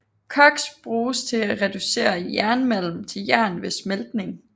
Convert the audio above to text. Koks bruges til at reducere jernmalm til jern ved smeltning